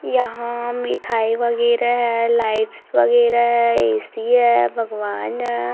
यहां मिठाई वगैरह है लाइट्स वगैरह ए_सी है भगवान है।